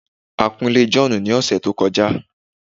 a kun ilé John ni ọsẹ to kọjá